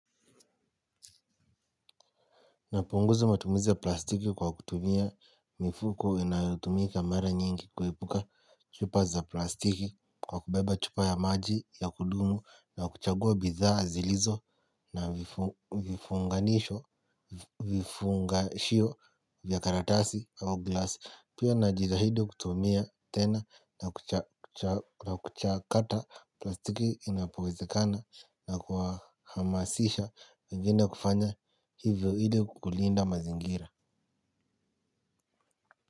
Napunguza matumizi ya plastiki kwa kutumia mifuko inayotumika mara nyingi kuepuka chupa za plastiki kwa kubeba chupa ya maji ya kudumu na kuchagua bidhaa zilizo na vifunganisho vifunga shio vya karatasi au glasi. Pia najitahidi kutumia tena na kuchakata plastiki inapowezekana na kuhamasisha wengine kufanya hivyo ili kulinda mazingira.